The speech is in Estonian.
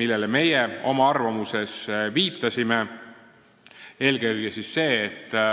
millele me oma arvamuses viitasime, ja esitas nende kohta oma kommentaarid.